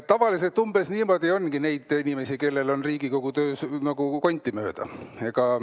Tavaliselt umbes nii palju ongi neid inimesi, kellele on Riigikogu töö konti mööda.